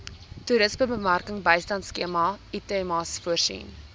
toerismebemarkingbystandskema itmas voorsien